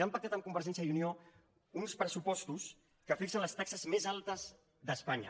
i han pactat amb convergèn·cia i unió uns pressupostos que fixen les taxes més altes d’espanya